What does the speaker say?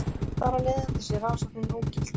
Þar af leiðandi sé rannsóknin ógild